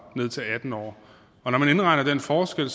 ned til atten år og når man indregner den forskel